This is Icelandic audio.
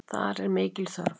Þar er mikil þörf.